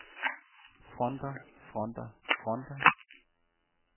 fronter fronter fronter